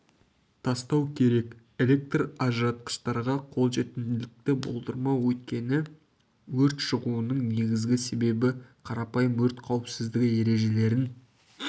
тастау керек электр ажыратқыштарға қолжетімділікті болдырмау өйткені өрт шығуының негізгі себебі қарапайым өрт қауіпсіздігі ережелерін